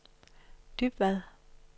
Dybvad